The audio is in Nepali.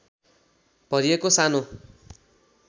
भरिएको सानो